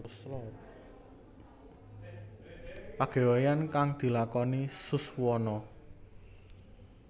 Pagaweyan kang dilakoni Suswono